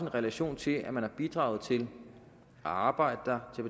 relation til at man har bidraget til at arbejde der